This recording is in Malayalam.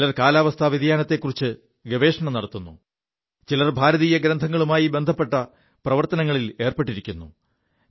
ചിലർ കാലാവസ്ഥാ വ്യതിയാനതത്തെക്കുറിച്ച് ഗവേഷണം നടത്തുു ചിലർ ഭാരതീയ ഗ്രന്ഥങ്ങളുമായി ബന്ധപ്പെ പ്രവർത്തനങ്ങളിലേർപ്പെിരിക്കുു